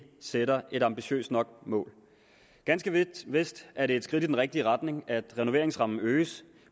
sætter et tilstrækkelig ambitiøst mål ganske vist er det et skridt i den rigtige retning at renoveringsrammen øges